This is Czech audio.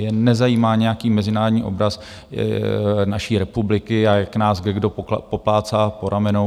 Je nezajímá nějaký mezinárodní obraz naší republiky a jak nás kdekdo poplácá po ramenou.